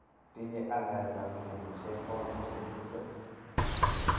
Tinye aldaet ap milionishek poundikshek 20.